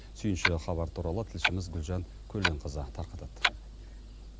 сүйінші хабар туралы тілшіміз гүлжан көленқызы тарқатады